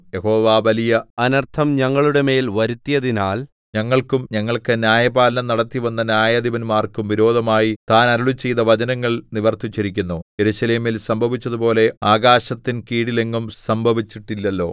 യഹോവ വലിയ അനർത്ഥം ഞങ്ങളുടെമേൽ വരുത്തിയതിനാൽ ഞങ്ങൾക്കും ഞങ്ങൾക്ക് ന്യായപാലനം നടത്തിവന്ന ന്യായാധിപന്മാർക്കും വിരോധമായി താൻ അരുളിച്ചെയ്ത വചനങ്ങൾ നിവർത്തിച്ചിരിക്കുന്നു യെരൂശലേമിൽ സംഭവിച്ചതുപോലെ ആകാശത്തിൻ കീഴിലെങ്ങും സംഭവിച്ചിട്ടില്ലല്ലോ